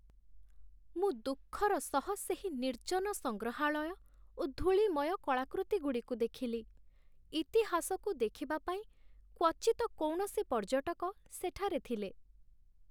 ମୁଁ ଦୁଃଖର ସହ ସେହି ନିର୍ଜନ ସଂଗ୍ରହାଳୟ ଓ ଧୂଳିମୟ କଳାକୃତିଗୁଡ଼ିକୁ ଦେଖିଲି। ଇତିହାସକୁ ଦେଖିବା ପାଇଁ କ୍ୱଚିତ କୌଣସି ପର୍ଯ୍ୟଟକ ସେଠାରେ ଥିଲେ।